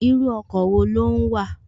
Irú ọkọ̀ wo ló ń wà?